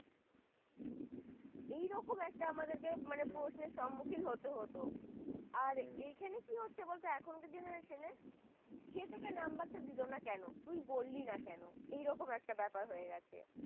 এইরকম মানে আমাদেরকে প্রশ্ন সম্মুখীন হতে হতো হম আর এখানে কি হচ্ছে বলতো এখনকার generation সে তোকে number টা দিল না কেন তুই বললি না কেন এরকম একটা ব্যাপার হয়ে গেছে